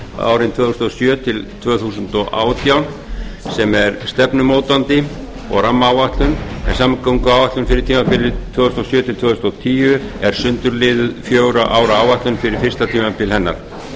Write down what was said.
árin tvö þúsund og sjö til tvö þúsund og átján sem er stefnumótandi og rammaáætlun en samgönguáætlun fyrir tímabilið tvö þúsund og sjö til tvö þúsund og tíu er sundurliðuð fjögurra ára áætlun fyrir fyrsta tímabil hennar